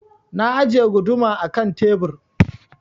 Na ajiye guduma a ƙan tebur.